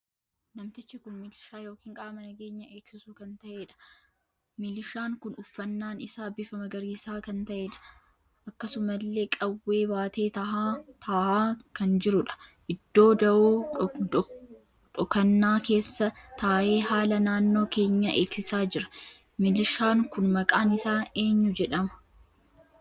Namtichi kun miliishaa ykn qaama nageenya eegsiisu kan taheedha. Miliishaan kun uffannaan isaa bifa magariisa kan taheedha. akkasumalle qawwee baatee taahaa kan jiruudha. Iddoo da'oo dhokannaa keessa taahee haala naannoo keenya eegsiisa jira. Miliishaan kun maqaan isaa eenyuu jedhama?